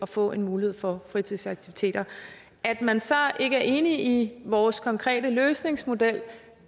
får en mulighed for fritidsaktiviteter at man så ikke er enig i vores konkrete løsningsmodel